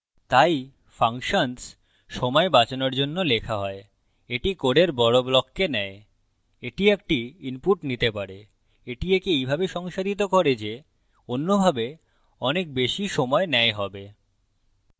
তাই ফাংশনস সময় বাচানোর জন্য লেখা হয় এটি code বড় ব্লককে নেয় এটি একটি input নিতে পারে এটি একে এইভাবে সংসাধিত করে যে অন্যভাবে অনেক বেশি সময় নেয় save